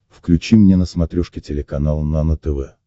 включи мне на смотрешке телеканал нано тв